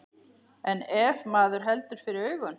En ef maður heldur fyrir augun.